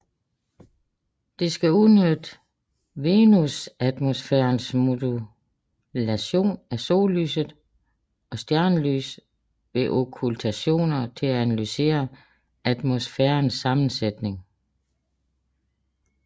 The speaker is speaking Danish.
Det skal udnytte venusatmosfærens modulation af sollyset og stjernelys ved okkultationer til at analysere atmosfærens sammensætning